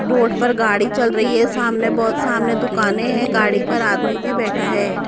Road पर गाड़ी चल रही है सामने बहुत सामने दुकानें हैं गाड़ी पर आदमी भी बैठा है।